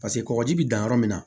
Paseke kɔkɔji bi dan yɔrɔ min na